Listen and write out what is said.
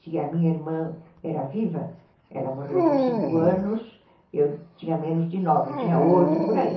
Se a minha irmã era viva, ela morreu com cinco anos, eu tinha menos de nove, tinha oito, por aí.